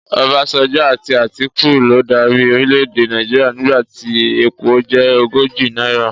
Ọbásanjọ́ àti Àtíkù ló darí orílẹ̀ èdè Nàìjíríà nígbà tí epo jẹ́ ogójì náírà.